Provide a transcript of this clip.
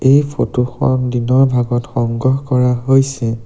এই ফটো খন দিনৰ ভাগত সংগ্ৰহ কৰা হৈছে।